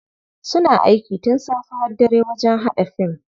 Suna aiki tun safe har dare wajen haɗa fim.